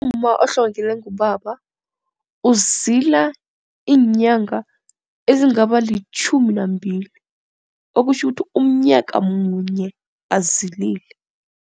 Umma ohlongelelwe ngubaba uzila iinyanga ezingaba litjhumi nambili okutjho ukuthi umnyaka munye azilile.